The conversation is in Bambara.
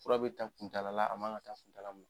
Fura be ta kuntaala la a ma ŋa ta kuntaala mun n